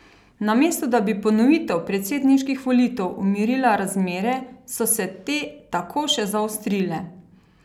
Namesto da bi ponovitev predsedniških volitev umirila razmere, so se te tako še zaostrile.